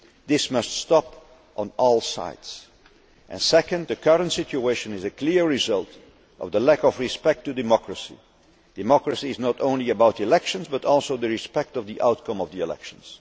This must stop on all sides. Secondly, the current situation is a clear result of the lack of respect for democracy. Democracy is not only about elections, but also respect for the outcome of the elections.